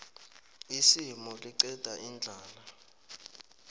isimu liqeda indlala